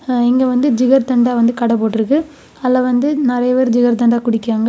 இங்க வந்து ஜிகர்தண்டா வந்து கடை போட்டுருக்கு அதுல வந்து நறைய பேர் ஜிகர்தண்டா குடிக்காங்க.